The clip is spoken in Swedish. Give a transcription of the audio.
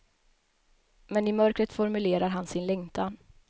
Men i mörkret formulerar han sin längtan.